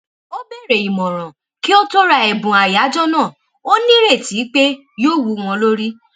ó béèrè ìmòràn kí ó tó ra èbùn àyájó náà ó ní ìrètí pé yóò wú wọn lórí